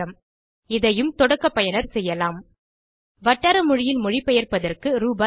1000 இதையும் தொடக்க பயனர் செய்யலாம் வட்டார மொழியில் மொழிபெயர்ப்பதற்கு ரூ